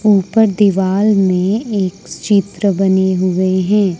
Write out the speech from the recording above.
ऊपर दीवाल में एक चित्र बने हुए हैं।